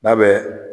N'a bɛ